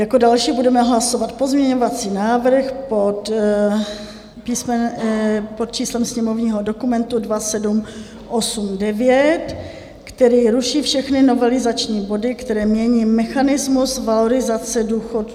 Jako další budeme hlasovat pozměňovací návrh pod číslem sněmovního dokumentu 2789, který ruší všechny novelizační body, které mění mechanismus valorizace důchodů.